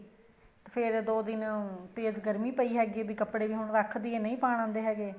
ਤੇ ਫ਼ੇਰ ਦੋ ਦਿਨ ਤੇਜ ਗਰਮੀ ਪਈ ਹੈਗੀ ਏ ਵੀ ਕੱਪੜੇ ਵੀ ਹੁਣ ਰੱਖ ਦਈਏ ਨਹੀਂ ਪਾਣ ਆਦੇ ਹੈਗੇ